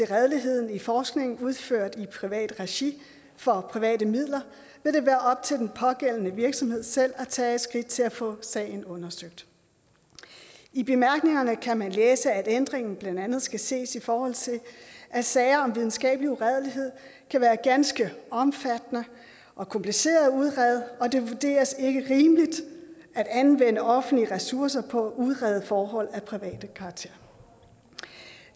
redeligheden i forskning udført i privat regi for private midler vil det være op til den pågældende virksomhed selv at tage skridt til at få sagen undersøgt i bemærkningerne kan man læse at ændringen blandt andet skal ses i forhold til at sager om videnskabelig uredelighed kan være ganske omfattende og komplicerede at udrede og det vurderes ikke rimeligt at anvende offentlige ressourcer på at udrede forhold af privat karakter